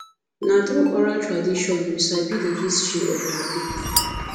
na through oral tradition we sabi all the history of our people